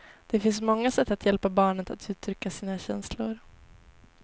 Det finns många sätt att hjälpa barnet att uttrycka sina känslor.